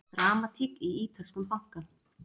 Dramatík í ítölskum banka